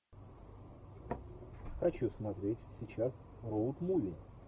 хочу смотреть сейчас роуд муви